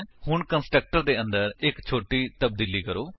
ਹੁਣ ਕੰਸਟਰਕਟਰ ਦੇ ਅੰਦਰ ਇੱਕ ਛੋਟੀ ਤਬਦੀਲੀ ਕਰੋ